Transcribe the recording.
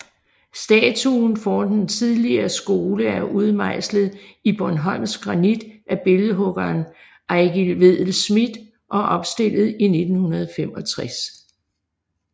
Statuen foran den tidligere skole er udmejslet i bornholmsk granit af billedhuggeren Eigil Vedel Schmidt og opstillet i 1965